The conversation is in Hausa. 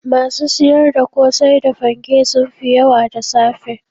Masu siyar da kosai da fanke sun fi yawa da safe